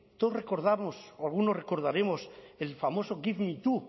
todos recordamos o algunos recordaremos el famoso give me two